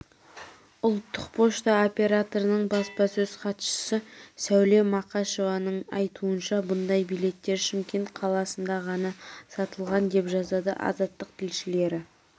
ұлттық пошта операторының баспасөз хатшысы сәуле мақашованың айтуынша мұндай билеттер шымкент қаласында ғана сатылған деп жазады азаттық тілшілері